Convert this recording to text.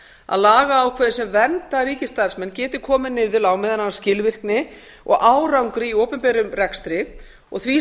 að lagaákvæði sem vernda ríkisstarfsmenn geti komið niður á meðal annars skilvirkni og árangri í opinberum rekstri og því